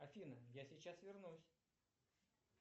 афина я сейчас вернусь